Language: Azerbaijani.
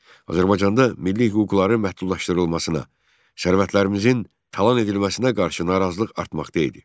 Azərbaycanda milli hüquqların məhdudlaşdırılmasına, sərvətlərimizin talan edilməsinə qarşı narazılıq artmaqda idi.